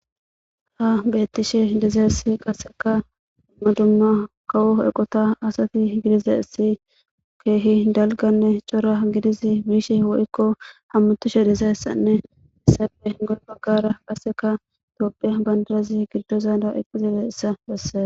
Ha beettishe dizaessi qasseka modumma kawo eqota asati gidizesi keehi dalganne cora gidizi biishe wo7kko hammutushe dizayssanne hessafe goy baggara qaseka toophiya bandalazi giddozanda iqqizile essa besse.